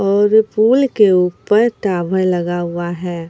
और पूल के ऊपर टावर लगा हुआ है।